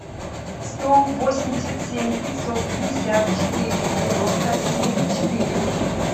сто восемьдесят семь пятьсот пятьдесят четыре девяносто семь четыре